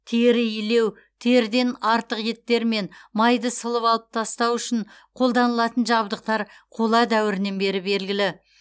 тері илеу теріден артық еттер мен майды сылып алып тастау үшін қолданылатын жабдықтар қола дәуірінен бері белгілі